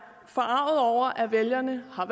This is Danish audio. forarget over at vælgerne har